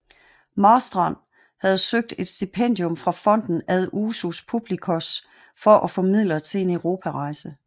Marstrand havde søgt et stipendium fra Fonden ad usus publicos for at få midler til en europarejse